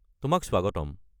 তোমাক স্বাগতম।